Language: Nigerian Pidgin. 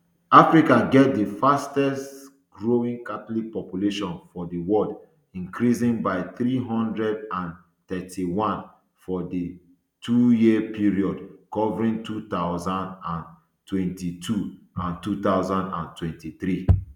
africa get di fastest growing catholic population for di world increasing by three hundred and thirty-one for di twoyear period covering two thousand and twenty-two and two thousand and twenty-three